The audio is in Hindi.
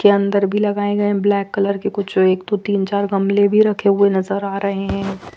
के अंदर भी लगाए गए ब्लैक कलर के कुछ जो एक दो तीन चार गमले भी रखे हुए नजर आ रहे है।